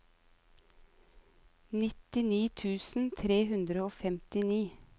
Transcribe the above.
nittini tusen tre hundre og femtini